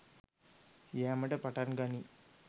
යෑමට පටන් ගනියි.